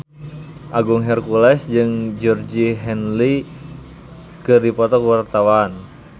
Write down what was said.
Agung Hercules jeung Georgie Henley keur dipoto ku wartawan